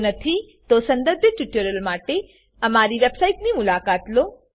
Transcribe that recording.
જો નથી સંદર્ભિત ટ્યુટોરીયલો માટેઅમારી વેબસાઈટની મુલાકાત લો